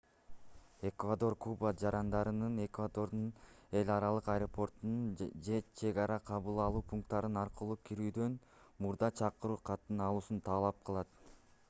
эквадор куба жарандарынан эквадордун эл аралык аэропорттору же чек ара кабыл алуу пункттары аркылуу кирүүдөн мурда чакыруу катын алуусун талап кылат